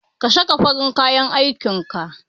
Ka saka farin kayan aikin ka!